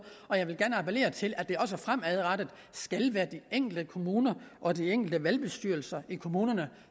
og jeg vil gerne appellere til at det også fremadrettet skal være de enkelte kommuner og de enkelte valgbestyrelser i kommunerne